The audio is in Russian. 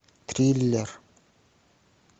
триллер